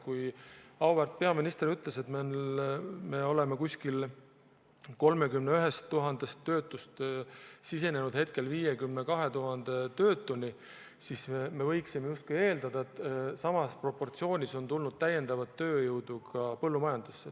Kui auväärt peaminister ütles, et umbes 31 000 töötust on saanud 52 000 töötut, siis me võiksime justkui eeldada, et samas proportsioonis on tulnud täiendavat tööjõudu ka põllumajandusse.